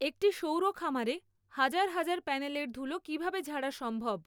একটি সৌর খামারে হাজার হাজার প্যানেলের ধুলো কিভাবে ঝাড়া সম্ভব?